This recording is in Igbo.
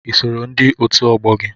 I sooro ndị otu ọgbọ gị?